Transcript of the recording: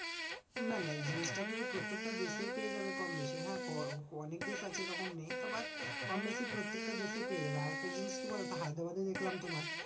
না না এই জিনিসটা তুমি প্রত্যেকটা দেশেই পেয়ে যাবে কম বেশি, হ্যাঁ? অনেক দেশ আছে এরকম নেই কম বেশি প্রত্যেকটা দেশেই পেয়ে যাবে। আরেকটা জিনিস কি বলতো? হায়দ্রাবাদে দেখলাম তোমার